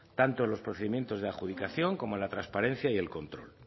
tanto en los procedimientos de adjudicación como la transparencia y el control